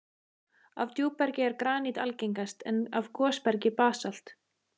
Af djúpbergi er granít algengast, en af gosbergi basalt.